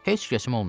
Heç kəsim olmayıb.